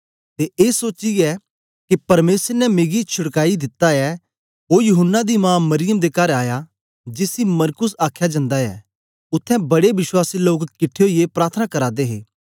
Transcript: ते ए सोचीयै के परमेसर ने मिकी छुड़काई दित्ता ऐ ओ यूहन्ना दी मां मरियम दे कर आया जिसी मरकुस आखया जन्दा ऐ उत्थें बड़े विश्वासी लोक किट्ठे ओईयै प्रार्थना करा दे हे